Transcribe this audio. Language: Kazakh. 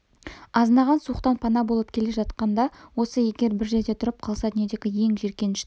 азынаған суықтан пана болып келе жатқан да осы егер бір жерде тұрып қалса дүниедегі ең жиіркенішті